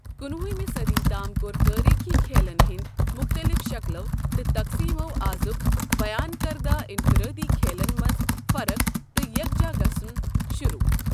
کُنہٕ وُہِمِہ صٔدی تام کوٚر تٲریٖخی کھیلَن ہٕنٛدۍ مختلف شکٕلَو تہٕ تقسیمَو آزُک بیان کردہ انفرٲدی کھیلَن منٛز فرق تہٕ یکجا گژھُن شروٗع۔